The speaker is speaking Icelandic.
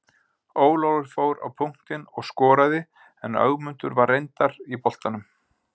Ólafur fór á punktinn og skoraði en Ögmundur var reyndar í boltanum.